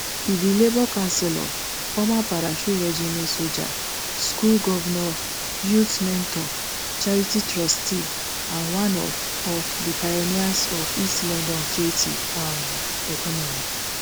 e be labour councillor former parachute regiment soldier school governor youth mentor charity trustee and one of of the pioneers of east london creative um economy